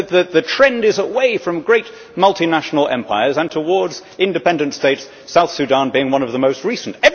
The trend is away from great multinational empires and towards independent states, South Sudan being one of the most recent.